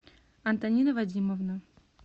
антонина вадимовна